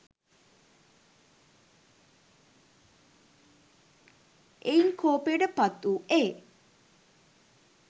එයින් කෝපයට පත් වූ ඒ